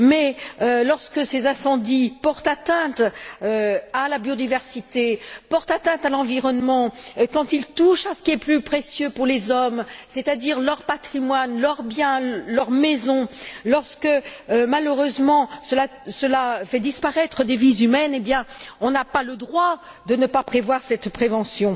Or, lorsque ces incendies portent atteinte à la biodiversité, à l'environnement, quand ils touchent à ce qui est le plus précieux pour les hommes, c'est à dire leur patrimoine, leurs biens, leur maison, lorsque malheureusement cela fait disparaître des vies humaines, on n'a pas le droit de ne pas prévoir cette prévention.